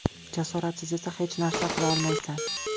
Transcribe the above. Jasoratsiz esa hech narsa qila olmaysan.